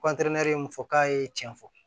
min fɔ k'a ye tiɲɛ fɔ